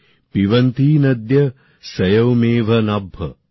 পিবন্তি নদ্যঃ স্বয়মেভ নাভ্যঃ